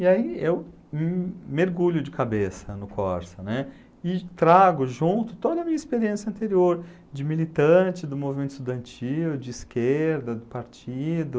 E aí eu hm mergulho de cabeça no Corsa, né, e trago junto toda a minha experiência anterior de militante do movimento estudantil, de esquerda, do partido.